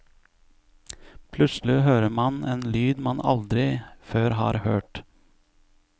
Plutselig hører man en lyd man aldri før har hørt.